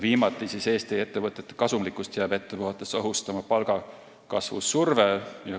Viimaks, Eesti ettevõtete kasumlikkust jääb ette vaadates ohustama palgakasvu surve.